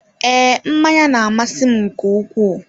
Ee, mmanya na-amasị m nke ukwuu.